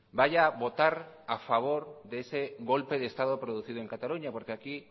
vaya a votar a favor de ese golpe de estado producido en cataluña porque aquí